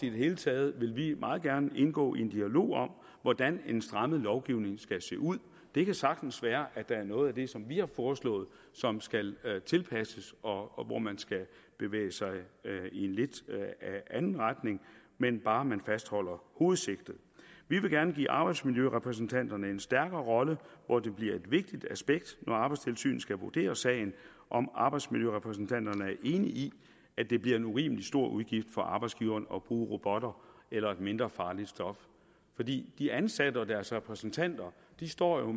i det hele taget vil vi meget gerne indgå i en dialog om hvordan en strammet lovgivning skal se ud det kan sagtens være at der er noget af det som vi har foreslået som skal tilpasses og hvor man skal bevæge sig i en lidt anden retning men bare fastholde hovedsigtet vi vil gerne give arbejdsmiljørepræsentanterne en stærkere rolle hvor det bliver et vigtigt aspekt når arbejdstilsynet skal vurdere sagen om arbejdsmiljørepræsentanterne er enige i at det bliver en urimelig stor udgift for arbejdsgiveren at bruge robotter eller et mindre farligt stof for de ansatte og deres repræsentanter står jo